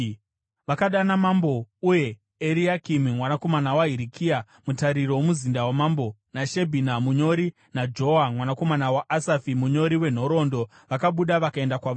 Vakadana mambo; uye Eriakimi mwanakomana waHirikia mutariri womuzinda wamambo, naShebhina munyori, naJoa mwanakomana waAsafi munyori wenhoroondo vakabuda vakaenda kwavari.